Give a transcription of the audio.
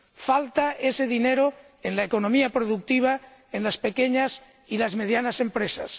Falta ese dinero en la economía productiva en las pequeñas y las medianas empresas.